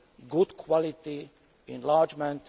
good quality enlargement.